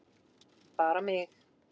Bara mig.